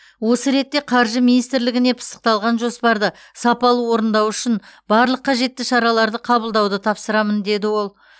осы ретте қаржы министрлігіне пысықталған жоспарды сапалы орындау үшін барлық қажетті шараларды қабылдауды тапсырамын деді ол